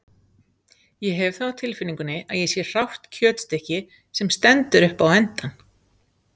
Ég hef það á tilfinningunni að ég sé hrátt kjötstykki, sem stendur upp á endann.